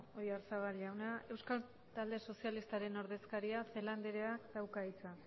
oyarzabal jauna euskal talde sozialistaren ordezkaria celaá andreak dauka hitza